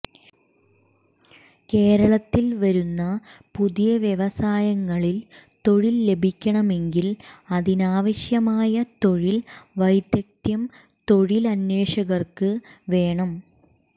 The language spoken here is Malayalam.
കേരളത്തിൽ വരുന്ന പുതിയ വ്യവസായങ്ങളിൽ തൊഴിൽ ലഭിക്കണമെങ്കിൽ അതിനാവശ്യമായ തൊഴിൽ വൈദഗ്ധ്യം തൊഴിലന്വേഷകർക്ക് വേണം